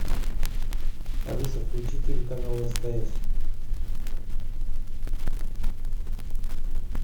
алиса включи телеканал стс